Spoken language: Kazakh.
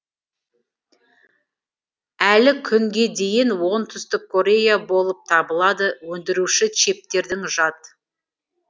әлі күнге дейін оңтүстік корея болып табылады өндіруші чиптердің жад